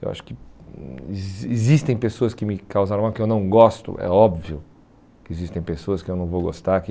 Eu acho que existem pessoas que me causaram mal, que eu não gosto, é óbvio que existem pessoas que eu não vou gostar, que...